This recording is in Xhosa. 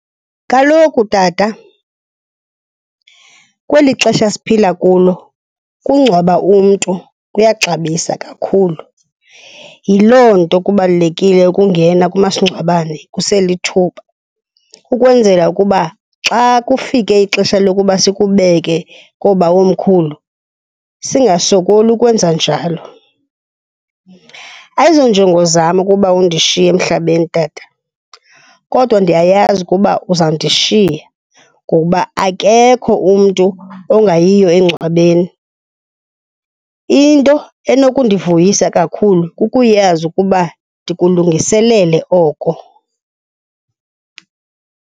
Kaloku tata, kweli xesha siphila kulo ukungcwaba umntu kuyaxabisa kakhulu, yiloo nto kubalulekile ukungena kumasingcwabane kuselithuba ukwenzela ukuba xa kufike ixesha lokuba sikubeke koobawomkhulu, singasokoli ukwenza njalo. Ayizonjongo zam ukuba undishiye emhlabeni tata, kodwa ndiyayazi ukuba uzawundishiya ngokuba akekho umntu ongayiyo engcwabeni. Into enokundivuyisa kakhulu kukuyazi ukuba ndikulungiselele oko.